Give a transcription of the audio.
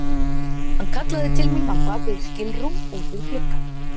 Hann kallaði til mín á bak við skilrúm út við glugga.